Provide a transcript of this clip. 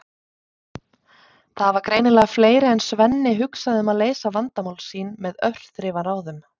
Það hafa greinilega fleiri en Svenni hugsað um að leysa vandamál sín með örþrifaráðum!